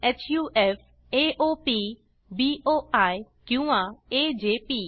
हफ AOP BOI किंवा AJP